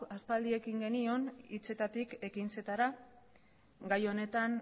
aspaldi ekin genion hitzetatik ekintzetara gai honetan